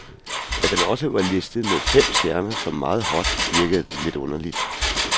At den også var listet med fem stjerner som meget hot, virkede lidt underligt.